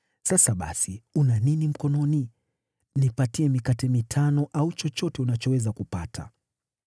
Sasa basi, una nini mkononi? Nipatie mikate mitano au chochote unachoweza kupata.”